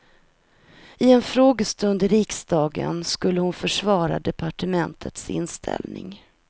I en frågestund i riksdagen skulle hon försvara departementets inställning.